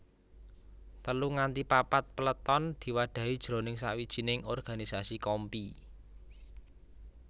Telu nganti papat peleton diwadhahi jroning sawijining organisasi kompi